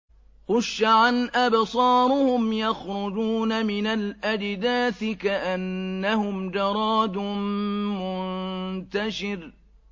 خُشَّعًا أَبْصَارُهُمْ يَخْرُجُونَ مِنَ الْأَجْدَاثِ كَأَنَّهُمْ جَرَادٌ مُّنتَشِرٌ